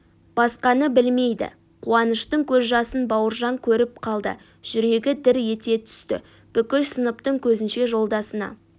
басқаны білмейді қуаныштың көз жасын бауыржан көріп қалды жүрегі дір ете түсті бүкіл сыныптың көзінше жолдасына